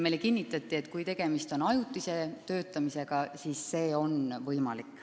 Meile kinnitati, et kui tegemist on ajutise töötamisega, siis see on võimalik.